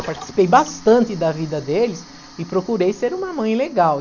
Eu participei bastante da vida deles e procurei ser uma mãe legal.